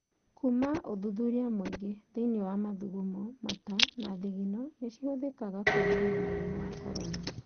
Kuma ũthuthuria mũingĩ thĩ-inĩ mathugumo, mata na thigino nĩ cihũthĩkaga kũonania mũrimũ wa Corona.